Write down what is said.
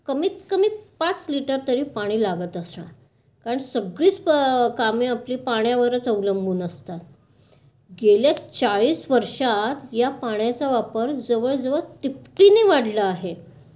कमीतकमी पाच लिटर तरी पाणी लागत असणार. कारण सगळीच कामं आपली पाण्यावरच अवलंबून असतात. गेल्या चाळीस वर्षात या पाण्याचा वापर जवळजवळ तिपटीने वाढला आहे.